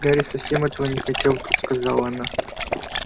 гарри совсем этого не хотел вдруг сказала она